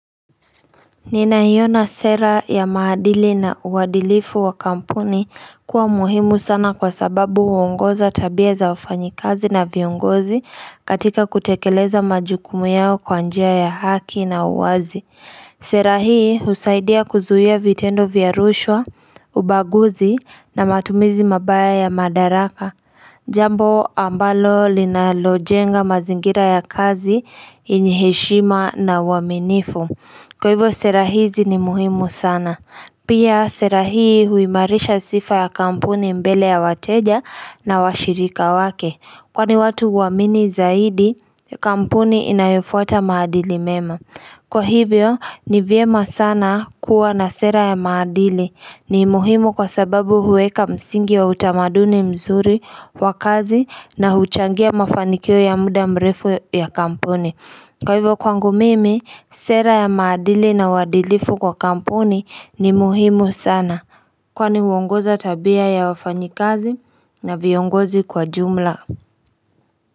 Ninaiona sera ya maadili na uadilifu wa kampuni kuwa muhimu sana kwa sababu Huongoza tabia za wafanyikazi na viongozi katika kutekeleza majukumu yao kwa njia ya haki na uwazi. Sera hii husaidia kuzuia vitendo vya rushwa, ubaguzi na matumizi mabaya ya madaraka. Jambo ambalo linalojenga mazingira ya kazi, yenye heshima na uaminifu. Kwa hivyo sera hizi ni muhimu sana. Pia sera hii huimarisha sifa ya kampuni mbele ya wateja na washirika wake. Kwani watu huamini zaidi, kampuni inayofuata maadili mema. Kwa hivyo ni vyema sana kuwa na sera ya maadili, ni muhimu kwa sababu huweka msingi wa utamaduni mzuri wa kazi na huchangia mafanikio ya muda mrefu ya kampuni Kwa hivyo kwangu mimi sera ya maadili na uadilifu kwa kampuni ni muhimu sana kwani huongoza tabia ya wafanyikazi na viongozi kwa jumla.